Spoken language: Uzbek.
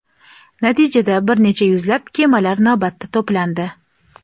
Natijada, bir necha yuzlab kemalar navbatda to‘plandi.